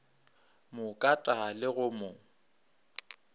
mo kata le go mo